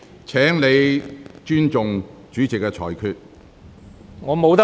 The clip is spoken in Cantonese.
請你尊重主席的裁決。